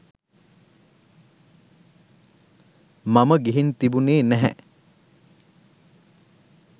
මම ගිහින් තිබුණෙ නැහැ.